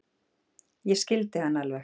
Ég skildi hann alveg.